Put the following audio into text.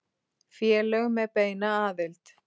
Félög með beina aðild